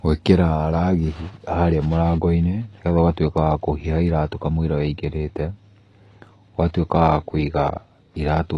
Gũĩkĩra ragĩ harĩa mũrango-inĩ, nĩgetha ũgatuĩka wa kũhiha iratũ hamũira ũingĩrĩte. Ũgatuĩka wa kũiga iratũ